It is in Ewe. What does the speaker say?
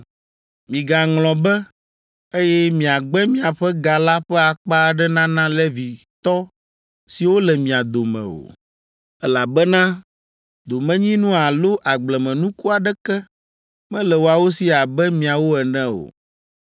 “Migaŋlɔ be, eye miagbe miaƒe ga la ƒe akpa aɖe nana Levitɔ siwo le mia dome o, elabena domenyinu alo agblemenuku aɖeke mele woawo si abe miawo ene o.